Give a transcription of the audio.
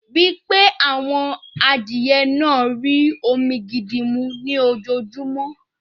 Rii pé àwọn adìye náà rí omi gidi mú ní ojoojúmọ́